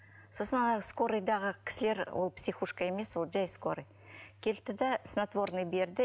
сосын ана скорыйдағы кісілер ол психушка емес ол жай скорый келді де снотворный берді